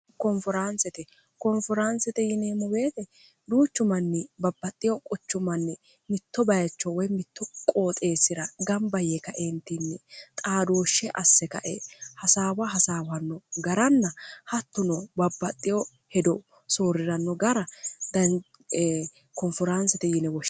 koonforaansete koonfiraansete yineemmobeete duuchu manni babbaxxiyo quchu manni mitto bayicho woy mitto qooxeessira gamba yee kaeentinni xaadooshshe asse kae hasaawa hasaawanno garanna hattuno babbaxxiyo hedo sooriranno gara dkoonforaansete yineowoh